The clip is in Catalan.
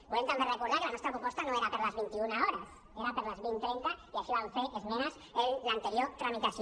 volem també recordar que la nostra proposta no era per a les vint un hores era per a les dos mil trenta i així vam fer esmenes en l’anterior tramitació